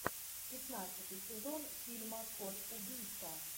пятнадцатый сезон фильма кот убийца